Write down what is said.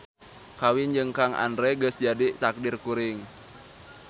Kawin jeung Kang Andre geus jadi taqdir kuring